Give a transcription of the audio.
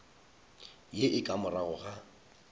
ye e ka morago ga